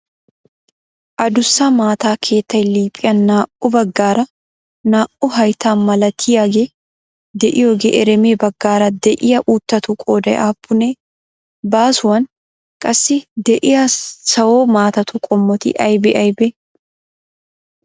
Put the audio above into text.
Addussa maata keettay liiphiyan naa"u baggaara naa"u hayttaa malatiyaagee de"iyoogee ereme baggaara de'iyaa uuttatu qooday aappunee? Baasuwan qassi de'iyaa sawo maatatu qommoti aybee aybee?